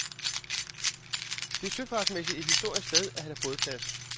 Det er søfartsmæssigt et historisk sted at have bådplads.